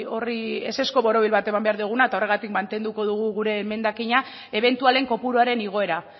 horri ezezko borobil bat eman behar diogula eta horregatik mantenduko dugu gure emendakina ebentualen kopuruaren igoera